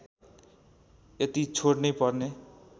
यति छोड्नै पर्ने